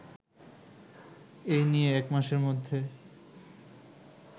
এই নিয়ে একমাসের মধ্যে